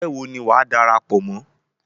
Egbé wo ni wàá darapọ̀ mọ́?